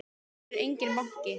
Hér er enginn banki!